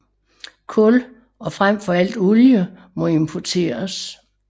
Kul og frem for alt olie må importeres